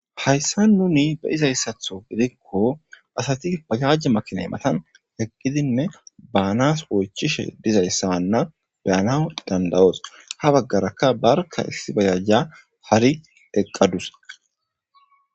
Hayssa nuni be izayssatho gidikko asati payajje makinay matan heqqidinne baanas oychishe dizayssawanna beyana dandawos ha baggarakka barka issi bayajja hari eqqadus.